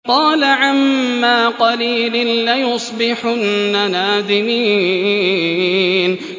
قَالَ عَمَّا قَلِيلٍ لَّيُصْبِحُنَّ نَادِمِينَ